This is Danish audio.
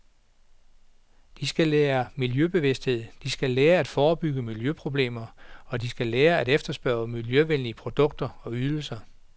De skal lære miljøbevidsthed, de skal lære at forebygge miljøproblemer, og de skal lære at efterspørge miljøvenlige produkter og ydelser.